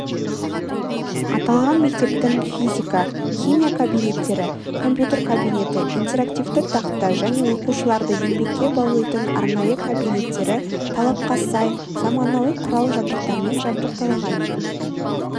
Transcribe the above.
аталған мектептің физика химия кабинеттері компьютер кабинеті интерактивті тақта және оқушыларды еңбекке баулитын арнайы кабинеттері талапқа сай заманауи құрал-жабдықтармен жабдықталған